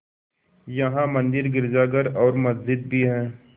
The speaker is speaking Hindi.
यहाँ मंदिर गिरजाघर और मस्जिद भी हैं